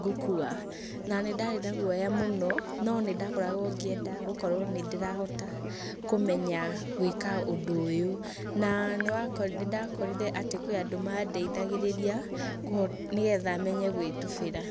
ngũkua'', na nĩ ndarĩ na gũoya mũno nĩndakoragwo ngĩenda gũkorwo nĩndĩrahota kũmenya gwĩka ũndũ ũyũ na nĩndakorire kwĩ andũ madeithagĩrĩria nĩgetha menye gwĩtubĩra.